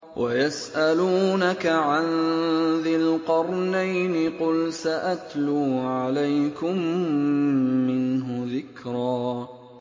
وَيَسْأَلُونَكَ عَن ذِي الْقَرْنَيْنِ ۖ قُلْ سَأَتْلُو عَلَيْكُم مِّنْهُ ذِكْرًا